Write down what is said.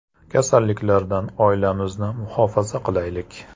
Kasalliklardan oilamizni muhofaza qilaylik.